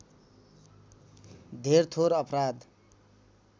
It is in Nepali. धेर थोर अपराध